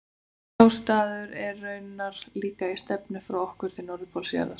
Sá staður er raunar líka í stefnu frá okkur til norðurpóls jarðar.